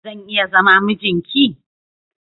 Zan iya zama mijin ki?